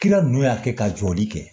Kira nunnu y'a kɛ ka jɔli kɛ